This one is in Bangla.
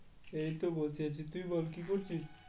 এইতো বসে আছি, তুই বল কি করছিস?